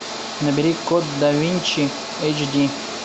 набери код да винчи эйч ди